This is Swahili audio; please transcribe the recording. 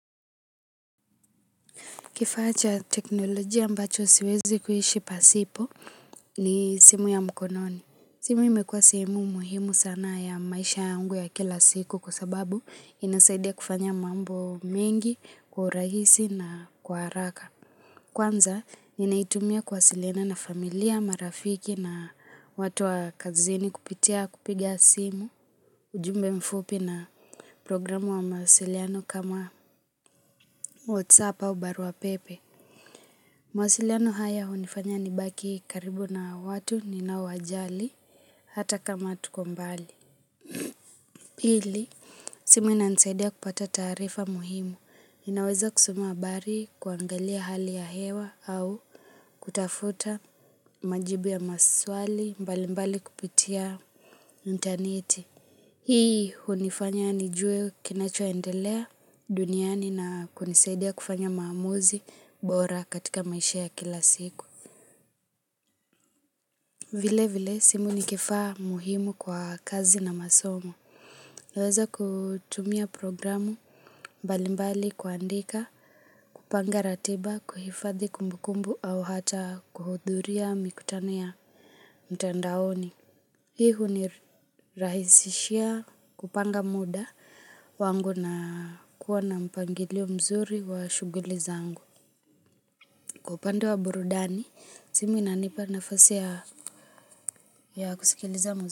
Kifacha teknolojia ambacho siwezi kuishi pasipo ni simu ya mkononi. Simu imekua sehemu muhimu sana ya maisha yangu ya kila siku kwa sababu inasaidia kufanya mambo mengi, kwa urahisi na kwa haraka. Kwanza, ninaitumia kuwasiliana na familia marafiki na watu wa kazini kupitia kupiga simu, ujumbe mfupi na programu wa mahasiliano kama WhatsApp au barua pepe. Mawasiliano haya hunifanya nibaki karibu na watu nona wajali hata kama tuko mbali. Pili, simu inanisaidia kupata taarifa muhimu. Ninaweza kusoma habari kuangalia hali ya hewa au kutafuta majibu ya maswali mbali mbali kupitia interneti. Hii hunifanya nijue kinachoendelea duniani na kunisaidia kufanya maamuzi bora katika maisha ya kila siku. Vile vile simu ni kifaa muhimu kwa kazi na masomo. Naeza kutumia programu mbalimbali kuandika, kupanda ratiba, kuhifadhi kumbukumbu au hata kuhudhuria mikutano ya mtandaoni. Hii hunirahisishia kupanga muda wangu na kuwa na mpangilio mzuri wa shughuli zangu. Kwa upande wa burudani simu inanipa nafasi ya kusikiliza mziki.